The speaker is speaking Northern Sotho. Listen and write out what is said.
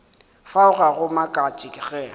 fao ga go makatše ge